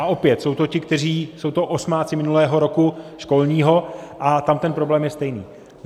A opět jsou to ti, kteří, jsou to osmáci minulého roku školního, a tam ten problém je stejný.